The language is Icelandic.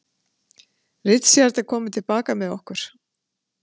Richard er kominn til baka með okkur.